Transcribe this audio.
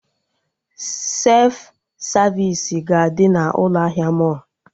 Sef savisi ga-adị na ụlọ ahịa mọlụ